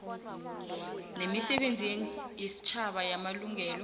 nemisebenzi yesitjhaba yamabulungelo